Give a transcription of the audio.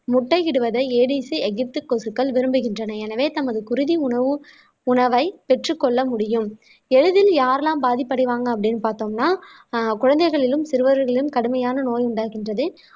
முட்டை இடுவதை ADC எகிப்த் கொசுக்கள் விரும்புகின்றன எனவே தமது குருதி உணவு உணவை பெற்றுக் கொள்ள முடியும் எளிதில் யாரெல்லாம் பாதிப்படைவாங்க அப்படின்னு பார்த்தோம்னா அஹ் குழந்தைகளிலும் சிறுவர்களையும் கடுமையான நோய் உண்டாகின்றது